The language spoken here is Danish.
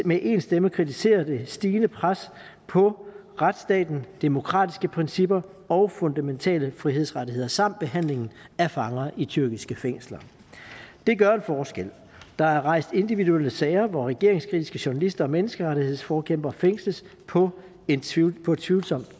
med én stemme kritiserer det stigende pres på retsstaten demokratiske principper og fundamentale frihedsrettigheder samt behandlingen af fanger i tyrkiske fængsler det gør en forskel der er rejst individuelle sager hvor regeringskritiske journalister og menneskerettighedsforkæmpere fængsles på et tvivlsomt tvivlsomt